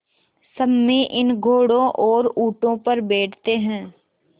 सम्मी इन घोड़ों और ऊँटों पर बैठते हैं